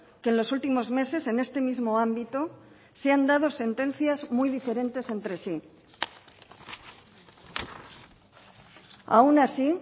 que en los últimos meses en este mismo ámbito se han dado sentencias muy diferentes entre sí aun así